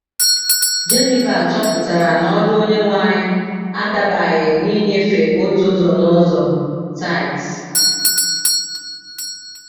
Genival chọpụtara na ọrụ Onyenwe anyị adabaghị n’ịnyefe otu ụzọ n’ụzọ (tithes).